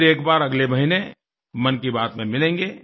फिर एक बार अगले महीने मन की बात में मिलेंगे